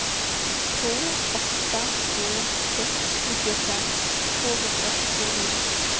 två åtta två sex nittiofem tvåhundrasjuttionio